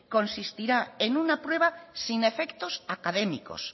consistirá en una prueba sin efectos académicos